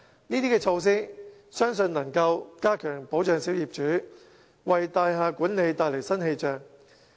我相信這些措施能加強保障小業主，為大廈管理帶來新氣象。